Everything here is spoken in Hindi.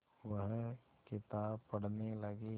वह किताब पढ़ने लगे